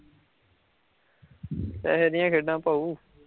ਪੈਹੇ ਨੀ ਹੈਗੇ ਐੱਡਾਂ ਭਾਉ